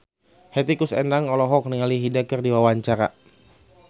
Hetty Koes Endang olohok ningali Hyde keur diwawancara